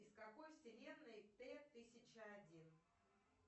из какой вселенной т тысяча один